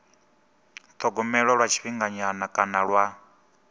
thogomelwa lwa tshifhinganyana kana lwa